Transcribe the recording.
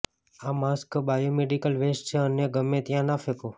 આ mask biomedical waste છે તેને ગમે ત્યાં ના ફેંકો